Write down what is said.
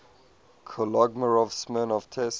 kolmogorov smirnov test